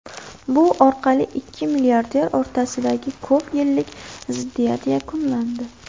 Bu orqali ikki milliarder o‘rtasidagi ko‘p yillik ziddiyat yakunlandi.